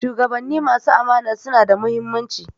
Shugabanni masu amana suna da muhimmanci